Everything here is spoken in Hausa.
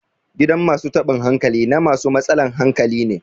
gidan masu taban hankali na masu matsalan hankali ne